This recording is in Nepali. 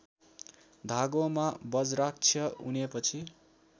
धागोमा बज्राक्ष उनेपछि